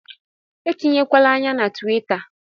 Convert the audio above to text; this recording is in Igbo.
Etinyekwala ányá na tuwita